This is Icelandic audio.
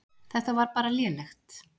Þetta var bara lélegt.